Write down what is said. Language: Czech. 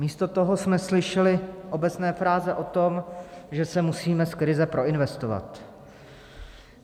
Místo toho jsme slyšeli obecné fráze o tom, že se musíme z krize proinvestovat.